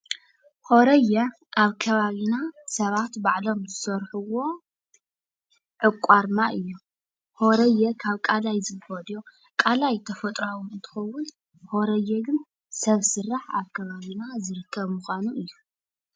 ሆሬየ ኣብ ከባቢና ሰባት ባዕሎም ዝሰርሕዎ ዕቋር ማይ እዩ። ሆሬየ ካብ ቀላይ ዝፍለዮ ቀላይ ተፈጥራዊ እንትኸውን ሆሬየ ግን ሰብ ስራሕ ኣብ ከባቢና ዝርከብ ምኳኑ እዩ።